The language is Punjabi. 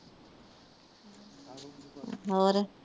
ਹੋਰ?